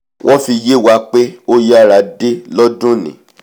wọ́n fi yé wa pé ó yára dé lọ́dúnìí